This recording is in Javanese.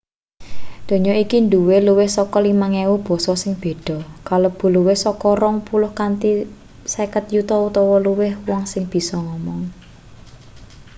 donya iki duwe luwih saka 5.000 basa sing beda kalebu luwih saka rong puluh kanthi 50 yuta utawa luwih wong sing bisa ngomong